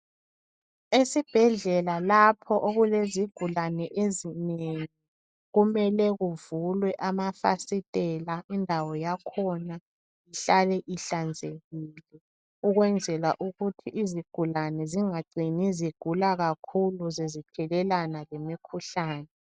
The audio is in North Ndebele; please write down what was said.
Esibhedlela lapho okulezigulane ezinengi kumele kuvulwe amafasitela, indawo yakhona ihlale ihlanzekile ukwenzela ukuthi izigulane zingacini zigula kakhulu sezithelelana lemikhuhlane.